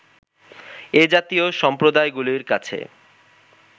এ-জাতীয় সম্প্রদায়গুলির কাছে